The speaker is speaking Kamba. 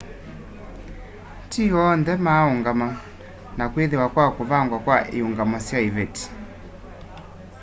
ti onthe maa ũngama na kwĩthĩwa kwa kũvangwa kwa iũngamo sya ivetĩ